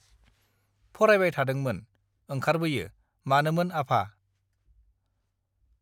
फरायबाय थादोंमोन ओंखारबोयो मानोमोन आफा